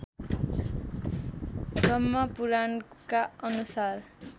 ब्रह्मपुराणका अनुसार